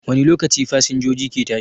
Wani lokaci fasinjoji ke tashi?